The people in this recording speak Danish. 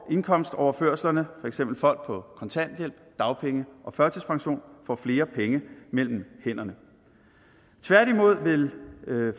indkomstoverførsel for eksempel folk på kontanthjælp dagpenge og førtidspension får flere penge mellem hænderne tværtimod vil